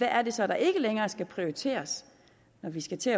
er det så der ikke længere skal prioriteres når vi skal til